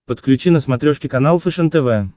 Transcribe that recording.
подключи на смотрешке канал фэшен тв